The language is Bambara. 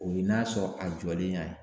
O ye n'a sɔrɔ a jɔlen y'a ye.